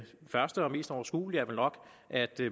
første og mest overskuelige er vel nok at